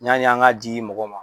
Y'ani an ka di mɔgɔ ma.